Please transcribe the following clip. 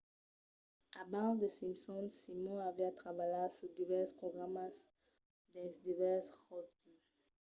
abans the simpsons simon aviá trabalhat sus divèrses programas dins divèrses ròtles